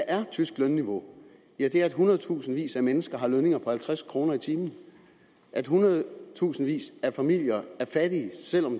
er tysk lønniveau ja det er at hundredtusindvis af mennesker har lønninger på halvtreds kroner i timen at hundredtusindvis af familier er fattige selv om